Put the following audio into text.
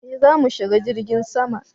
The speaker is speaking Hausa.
eh zamu shiga jirgin sama